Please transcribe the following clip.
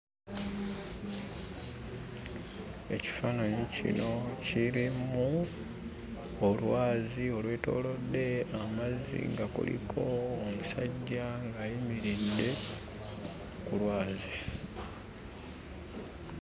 Ekifaananyi kino kirimu olwazi olwetoolodde amazzi nga kuliko omusajja ng'ayimiridde ku lwazi.